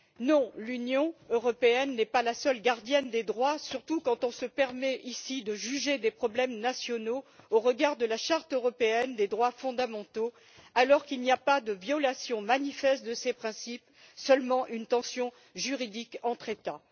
non, l'Union européenne n'est pas la seule gardienne des droits, surtout quand on se permet ici de juger des problèmes nationaux au regard de la charte européenne des droits fondamentaux, alors qu'il n'y a pas de violation manifeste de ses principes, mais seulement une tension juridique entre États